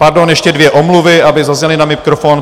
Pardon, ještě dvě omluvy, aby zazněly na mikrofon.